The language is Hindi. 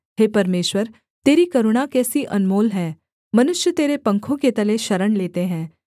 हे परमेश्वर तेरी करुणा कैसी अनमोल है मनुष्य तेरे पंखो के तले शरण लेते हैं